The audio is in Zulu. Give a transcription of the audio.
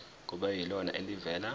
kube yilona elivela